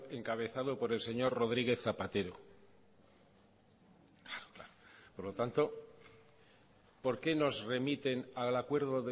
encabezado por el señor rodríguez zapatero claro claro por lo tanto por qué nos remiten al acuerdo